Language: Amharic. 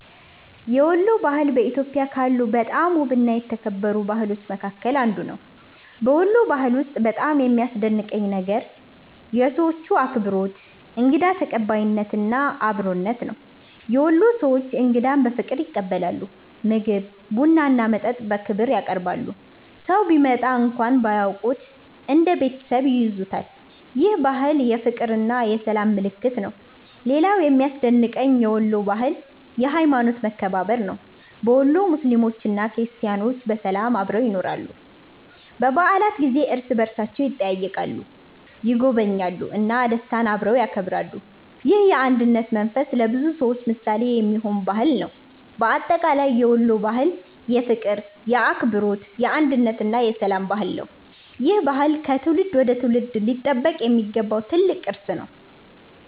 የወሎ ባህል በኢትዮጵያ ካሉ በጣም ውብና የተከበሩ ባህሎች መካከል አንዱ ነው። በወሎ ባህል ውስጥ በጣም የሚያስደንቀኝ ነገር የሰዎቹ አክብሮት፣ እንግዳ ተቀባይነት እና አብሮነት ነው። የወሎ ሰዎች እንግዳን በፍቅር ይቀበላሉ፤ ምግብ፣ ቡና እና መጠጥ በክብር ያቀርባሉ። ሰው ቢመጣ እንኳን ባያውቁት እንደ ቤተሰብ ይይዙታል። ይህ ባህል የፍቅርና የሰላም ምልክት ነው። ሌላው የሚያስደንቀኝ የወሎ ባህል የሀይማኖት መከባበር ነው። በወሎ ሙስሊሞችና ክርስቲያኖች በሰላም አብረው ይኖራሉ። በበዓላት ጊዜ እርስ በእርሳቸው ይጠያየቃሉ፣ ይጎበኛሉ እና ደስታን አብረው ያከብራሉ። ይህ የአንድነት መንፈስ ለብዙ ሰዎች ምሳሌ የሚሆን ባህል ነው። በአጠቃላይ የወሎ ባህል የፍቅር፣ የአክብሮት፣ የአንድነት እና የሰላም ባህል ነው። ይህ ባህል ከትውልድ ወደ ትውልድ ሊጠበቅ የሚገባው ትልቅ ቅርስ ነው።